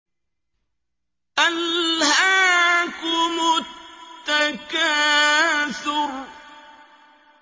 أَلْهَاكُمُ التَّكَاثُرُ